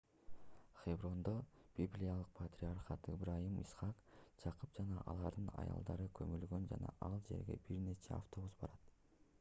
хеброндо библиялык патриархтар ыбрайым ыскак жакып жана алардын аялдары көмүлгөн жана ал жерге бир нече автобус барат